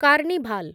carnival